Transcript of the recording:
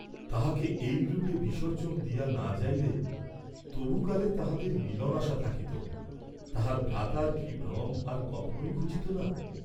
তাহাকে এইরূপে বিসর্জন দিয়া না যাইলে তবু কালে তাহাদের মিলন আশা থাকিত, তাহার ভ্রাতার কি ভ্রম আর কখনই ঘুচিত না?